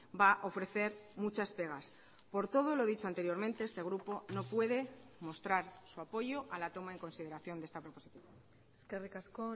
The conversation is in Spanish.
va a ofrecer muchas pegas por todo lo dicho anteriormente este grupo no puede mostrar su apoyo a la toma en consideración de esta proposición eskerrik asko